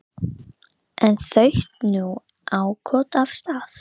En þaut nú áköf af stað.